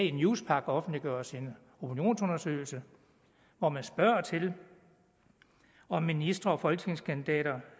i newspaq offentliggøres en opinionsundersøgelse hvor man spørger til om ministre og folketingskandidater